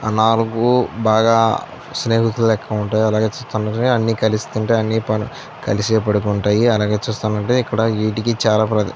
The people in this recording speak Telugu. ఆ నాలుగు బాగా స్నేహితులు లెక్క ఉంటాయి. అలాగే ఈ చిత్రంలో అన్ని కలిసి తింటాయి. అన్ని కలిసే పనుకుంటాయ్. అలాగే చూస్తున్నట్లైతే ఇక్కడ వీటికి చాల --